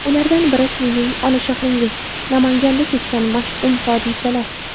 Ulardan biri Sizning ona shahringiz Namanganda kechgan mash’um hodisalar.